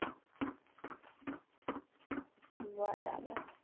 બરાબર